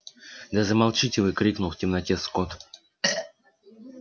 да замолчите вы крикнул в темноте скотт